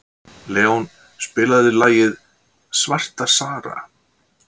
Leon, spilaðu lagið „Svarta Sara“.